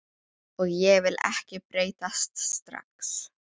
Og ég vil ekki breytast strax.